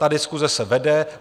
Ta diskuse se vede.